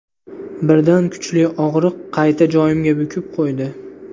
Birdan kuchli og‘riq qayta joyimga bukib qo‘ydi.